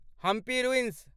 Hampi ruins